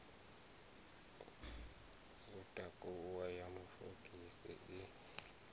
u takuwa ya mafogisi i